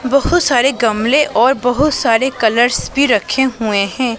बहुत सारे गमले और बहुत सारे कलर्स भी रखे हुए हैं।